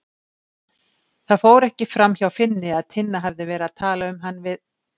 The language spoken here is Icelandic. Það fór ekki framhjá Finni að Tinna hafði verið að tala um hann við